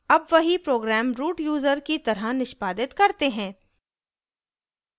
अब वही program root user की तरह निष्पादित करते हैं